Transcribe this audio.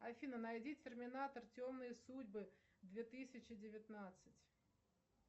афина найди терминатор темные судьбы две тысячи девятнадцать